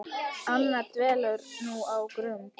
Anna dvelur nú á Grund.